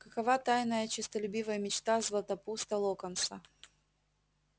какова тайная честолюбивая мечта златопуста локонса